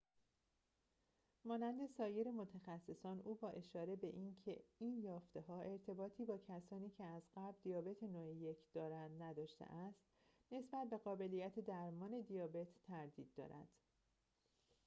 مانند سایر متخصصان او با اشاره به اینکه این یافته‌ها ارتباطی با کسانی که از قبل دیابت نوع ۱ دارند نداشته است نسبت به قابلیت درمان دیابت تردید دارد